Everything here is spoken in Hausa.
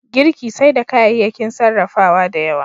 Girki sai da kayayyakin sarrafawa da yawa.